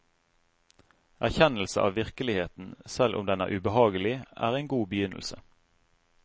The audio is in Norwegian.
Erkjennelse av virkeligheten, selv om den er ubehagelig, er en god begynnelse.